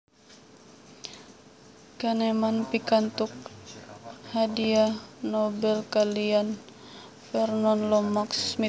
Kahneman pikantuk hadhiah Nobel kaliyan Vernon Lomax Smith